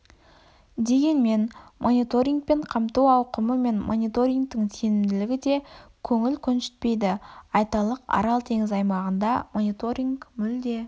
дегенмен мониторингпен қамту ауқымы мен мониторингтің сенімділігі де көңіл көншітпейді айталық арал теңізі аймағында мониторинг мүлде